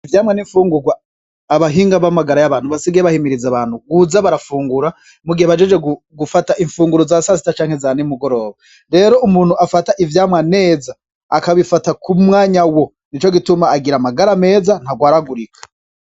Ivyamwa ni imfungurwa abahinga b'amagara y'abantu basigaye bahimiriza abantu kuza barafungura, mugihe bahejeje gufata imfunguro za sasita canke za n'imugoroba. Rero umuntu afata ivyamwa neza, akabifata ku mwanya wo, nico gituma agira amagara meza, ntagwaragurika.